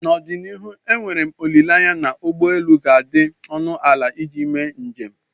n'ọdịnihu enwere m olileanya na ụgbọ elu ga-adị ọnụ ala iji mee njem